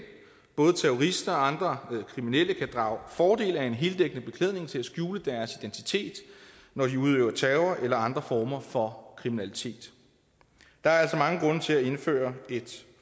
både terrorister og andre kriminelle kan drage fordel af en heldækkende beklædning til at skjule deres identitet når de udøver terror eller andre former for kriminalitet der er altså mange grunde til at indføre et